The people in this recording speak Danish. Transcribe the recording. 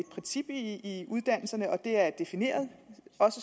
princip i uddannelserne og det er også defineret